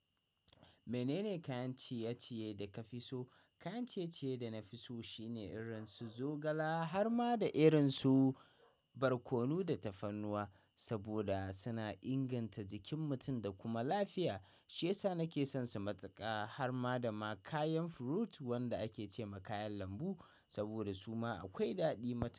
Menene kayan ciye-ciye da ka fi so? Kayan ciye-ciye da na fi so shine irin su zogala har ma da irin su barkono da tafarnuwa, saboda suna inganta jikin mutum da kuma lafiya. Shiyasa nake son su matuƙa har ma da ma kayan fruit wanda ake ce ma kayan lambu saboda su ma akwai daɗi matuƙa.